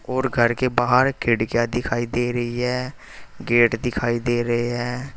और घर के बाहर खिड़कियां दिखाई दे रही है गेट दिखाई दे रहे हैं।